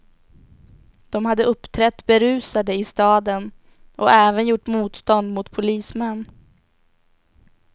De hade uppträtt berusade i staden och även gjort motstånd mot polismän.